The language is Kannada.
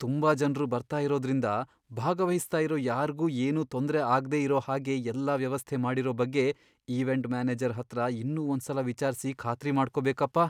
ತುಂಬಾ ಜನ್ರು ಬರ್ತಾ ಇರೋದ್ರಿಂದ, ಭಾಗವಹಿಸ್ತಾ ಇರೋ ಯಾರ್ಗೂ ಏನೂ ತೊಂದ್ರೆ ಆಗ್ದೇ ಇರೋ ಹಾಗೆ ಎಲ್ಲ ವ್ಯವಸ್ಥೆ ಮಾಡಿರೋ ಬಗ್ಗೆ ಇವೆಂಟ್ ಮ್ಯಾನೇಜರ್ ಹತ್ರ ಇನ್ನೂ ಒಂದ್ಸಲ ವಿಚಾರ್ಸಿ ಖಾತ್ರಿ ಮಾಡ್ಕೊಬೇಕಪ್ಪ.